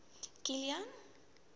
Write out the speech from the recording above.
kilian